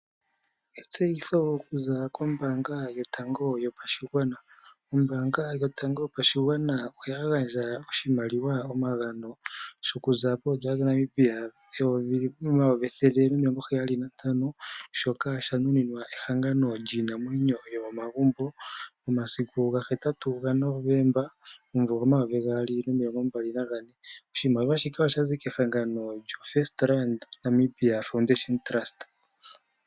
Etseyitho okuza kombanga yotango yopashigwana, ombanga yotango yopashigwana oya gandja oshimaliwa omagano shoku za poodollar dhaNamibia omayovi ethele nomilongo heyali nantano. Shoka sha nuninwa ehangano iinamwenyo yomomagumbo momasiku gahetatu gaNovemba omumvu omayovigaali nomilongo mbali nane. Oshimaliwa shika osha zi kehagano lyaFirstRand Namibia Foundation Trust.